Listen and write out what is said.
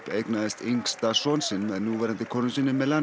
eignaðist yngsta son sinn með núverandi konu sinni